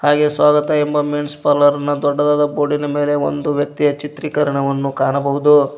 ಹಾಗೆ ಸ್ವಾಗತ ಎಂಬ men's parlour ನ ದೊಡ್ಡದಾದ ಬೋರ್ಡಿ ನ ಮೇಲೆ ಒಂದು ವ್ಯಕ್ತಿಯ ಚಿತ್ರಿಕರಣವನ್ನು ಕಾಣಬಹುದು.